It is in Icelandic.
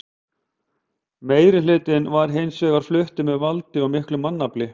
Meirihlutinn var hins vegar fluttur með valdi og miklu mannfalli.